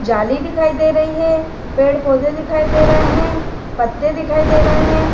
जाली दिखाई दे रही है पेड़-पौधे दिखाई दे रहे हैं पत्ते दिखाई दे रहे हैं।